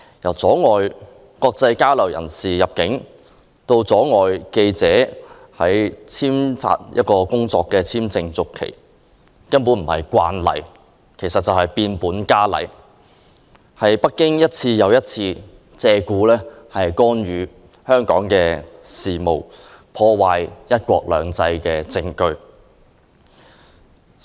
從阻礙來港進行國際交流的人士入境，到拒絕為記者的工作簽證續期，這些舉動並非所謂的"慣例"，而是變本加厲，是北京一次又一次借故干預香港事務、破壞"一國兩制"的證據。